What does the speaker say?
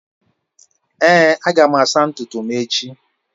Èé, aga m asa ntutu m echi.